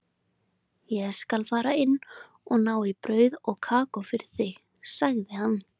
Ég skal fara inn og ná í brauð og kakó fyrir þig, sagði hann.